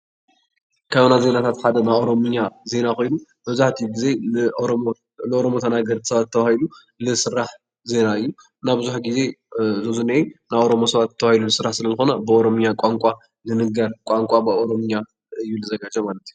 ካብ ናይ ዜናታት ሓደ ናይ ኦሮሚኛ ዜና ኮይኑ መብዛሕቲኡ ግዜ ንኦሮሞ ተናገርቲ ሰባት ተባሂሉ ዝስራሕ ዜና እዩ። እና ብዙሕ ግዜ እዚ ኣብዙይ ዝኒአ ናይ ኦሮሞ ሰባት ተባሂሉ ዝስራሕ ስለዝኮነ ብኦሮምኛ ቋንቋ ዝንገር ቋንቋ ብኦሮሚኛ እዩ ዝዘጋጆ ማለት እዩ።